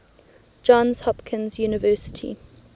johns hopkins university